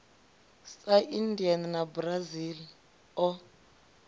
sa india na brazil o